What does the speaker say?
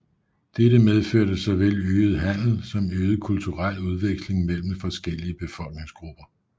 Dette medførte såvel øget handel som øget kulturel udveksling mellem forskellige befolkningsgrupper